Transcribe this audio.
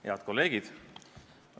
Head kolleegid!